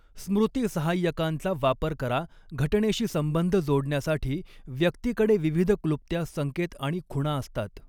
स्मृती सहाय्यकांचा वापर करा घटनेशी संबंध जोडण्यासाठी व्यक्तीकडे विविध क्लृप्त्या संकेत आणि खुणा असतात.